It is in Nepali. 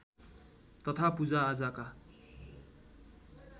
तथा पूजा आजाका